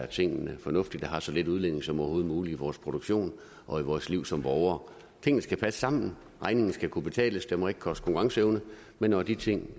tingene fornuftigt og har så lille en udledning som overhovedet muligt i vores produktion og i vores liv som borgere tingene skal passe sammen og regningen skal kunne betales det må ikke koste konkurrenceevne men når de ting